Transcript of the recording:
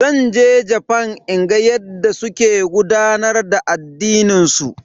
Zan je Jafan in ga yadda suke gudanar da addinin su.